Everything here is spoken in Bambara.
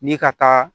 Ni ka taa